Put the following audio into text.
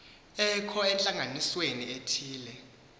ekho entlanganisweni ethile